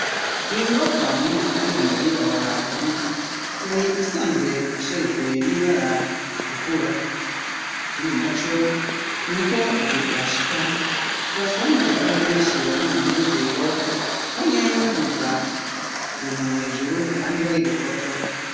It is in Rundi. Iyo nyubokwa muri rusangi yariri aho hantu yari isanzwe isherijwe n'ibibara ritukura ikindi naco nuko igihe twashika twasanze hariho beshi bari mu munezero bamwe baduza utuntu hejuru abandi bari gufotora.